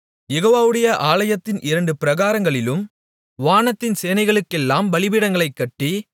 யெகோவவுடைய ஆலயத்தின் இரண்டு பிராகாரங்களிலும் வானத்தின் சேனைகளுக்கெல்லாம் பலிபீடங்களைக் கட்டி